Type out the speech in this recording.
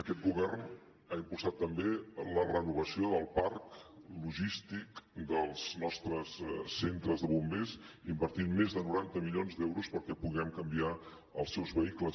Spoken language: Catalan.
aquest govern ha impulsat també la renovació del parc logístic dels nostres centres de bombers invertint més de noranta milions d’euros perquè puguem canviar els seus vehicles